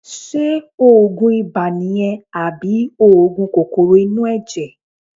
Ṣé òògùn ibà nìyẹn àbí òògùn kòkòrò inú ẹ̀jẹ̀?